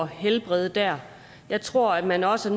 helbrede der jeg tror at man også